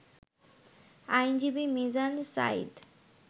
আইনজীবী মিজান সাঈদ